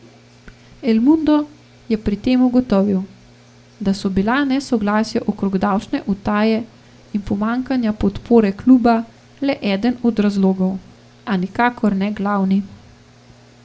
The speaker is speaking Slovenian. El Mundo je pri tem ugotovil, da so bila nesoglasja okrog davčne utaje in pomanjkanja podpore kluba le eden od razlogov, a nikakor ne glavni.